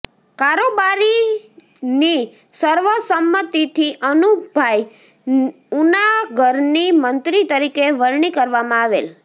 કારોબારીની સર્વસંમતિથી અમુભાઈ ઉનાગરની મંત્રી તરીકે વરણી કરવામાં આવેલ